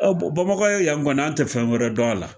Ɔ bamakɔ yan kɔni an tɛ fɛn wɛrɛ dɔn a la